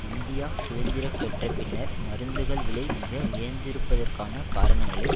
India சுதந்திரம் பெற்ற பின்னர் மருந்துகள் விலை மிக உயர்ந்திருப்பதற்கான காரணங்களை